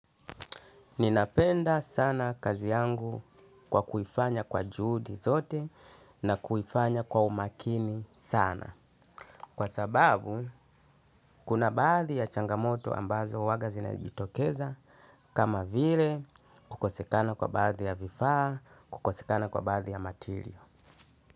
Ninapenda sana kazi yangu kwa kuifanya kwa juhudi zote na kuifanya kwa umakini sana. Kwa sababu, kuna baadhi ya changamoto ambazo huwaga zinajitokeza kama vile, kukosekana kwa baadhi ya vifaa, kukosekana kwa baadhi ya materiyo.